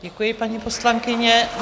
Děkuji, paní poslankyně.